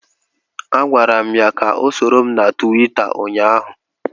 Agwara m ya ka ọ soro m na Tuweeta ụnyaahụ